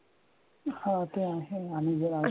हा ते आहे आणि जे